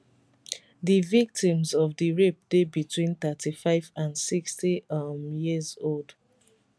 di victims of di rape dey between 35 and 60 um years old